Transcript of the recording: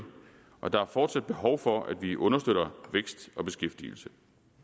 og der er fortsat behov for at vi understøtter vækst og beskæftigelse